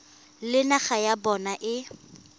le naga ya bona e